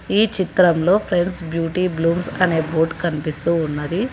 ఈ చిత్రంలో friends beauty blooms అనే బోర్డ్ కనిపిస్తూ ఉన్నది.